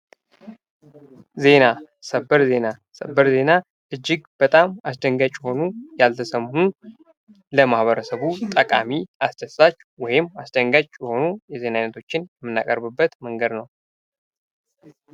ዜና፤ ሰበር ዜና፦ ሰበር ዜና እጅግ በጣም አስደንጋጭ የሆኑ፣ ያልተሰሙ፣ ለማህበረሰቡ ጠቃሚ፣ አስደሳች ወይም አስደንጋጭ የሆኑ የዜና አይነቶችን የምናቀርብበት መንገድ ነው።